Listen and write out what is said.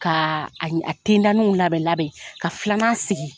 Ka a tenda niw labɛn labɛn ka filan sigi.